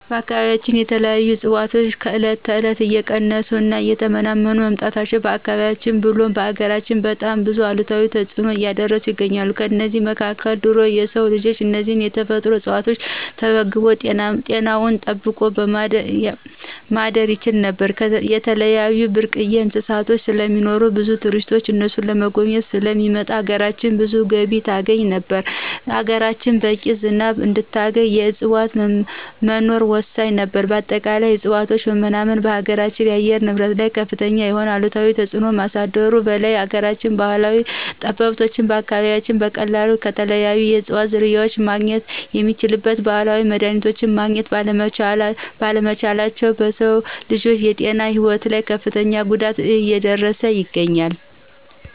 በአካባቢያችን ያሉ እፅዋቶች ከእለት እለት እየቀነሱ እና እየተመናመኑ መምጣታቸው በአካባቢያችን ብሎም በሀገራችን በጣም ብዙ አሉታዊ ተጽዕኖ እያሳደሩ ይገኛሉ። ከእነዚህም መካከል ድሮ የሰው ልጅ እነዚህን የተፈጥሮ እጽዋቶች ተመግቦ ጤናውን ጠብቆ ማደር ይችል ነበር፣ የተለያዩ ብርቅዬ እንስሳቶች ስለሚኖሩ ብዙ ቱሪስቶች እነሱን ለመጎብኘት ስለሚመጡ ሀገራችን ብዙ ገቢ ታገኝ ነበር፣ ሀገራችን በቂ ዝናብ እንድታገኝ የእጽዋት መኖር ወሳኝ ነበር በአጠቃላይ የእጽዋቶች መመናመን በሀገራችን አየር ንብረት ላይ ከፍተኛ የሆነ አሉታዊ ተጽዕኖ ከማሳደሩ በላይ የሀገራችን ባህላዊ ጠበብቶች በአካባቢያችን በቀላሉ ከተለያዩ የእጽዋት ዝርያዎች ማግኘት የሚችሏቸውን ባህላዊ መድሀኒቶች ማግኘት ባለመቻላቸው በሰው ልጅ ጤናና ህይወት ላይ ከፍተኛ ጉዳት እየደረሰ ይገኛል።